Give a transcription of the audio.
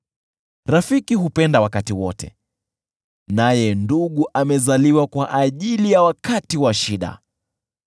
Rafiki hupenda wakati wote naye ndugu amezaliwa kwa ajili ya wakati wa shida.